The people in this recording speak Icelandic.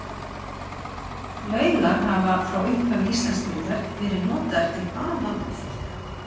Laugar hafa frá upphafi Íslandsbyggðar verið notaðar til baða og þvotta.